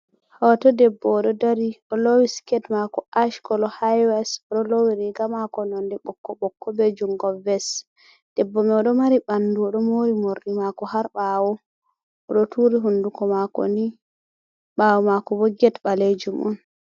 hooto debbo oɗo dari oloowi siket maako ash koolo haiwes, oɗo loowii riga maako nonde ɓokko ɓokko be jungo ves. Debbo mai oɗo maari ɓaandu oɗo moori moorɗi maako har ɓawo. Oɗo turi hunduuko maako nii, ɓawoo makobo get ɓalejum'on.